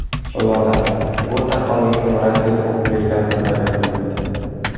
Lola: Bu taxallusim Rossiyada o‘qib yurganimda paydo bo‘lgan edi.